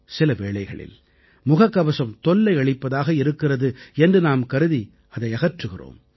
சில வேளைகளில் முகக்கவசம் தொல்லையளிப்பதாக இருக்கிறது என்று நாம் கருதி அதை அகற்றுகிறோம்